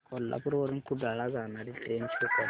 कोल्हापूर वरून कुडाळ ला जाणारी ट्रेन शो कर